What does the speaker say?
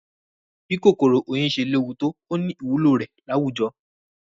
Bí kòkòrò oyin ṣe léwu tó,ó ní ìwúlò rẹ̀ láwùjọ.